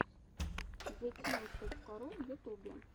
зэтьюнс точка ру в ютубе